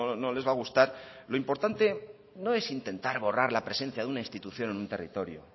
no les va a gustar lo importante no es intentar borrar la presencia de una institución en un territorio